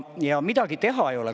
Ja midagi teha ei ole.